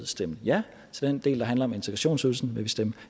stemme ja til den del der handler om integrationsydelsen vil vi stemme